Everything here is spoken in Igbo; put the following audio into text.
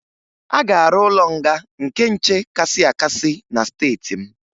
A ga-arụ ụlọ nga nke nche kasị akasị na steeti m